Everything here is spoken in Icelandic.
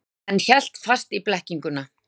En hélt fast í blekkinguna.